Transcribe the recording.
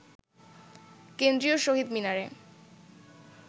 কেন্দ্রীয় শহীদ মিনারে